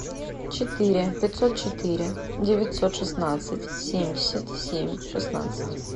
четыре пятьсот четыре девятьсот шестнадцать семьдесят семь шестнадцать